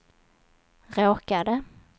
råkade